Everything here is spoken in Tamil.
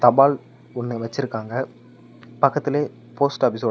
பால் ஒன்னு வெச்சிருக்காங்க பக்கத்துலே போஸ்ட் ஆபீஸ் ஓட.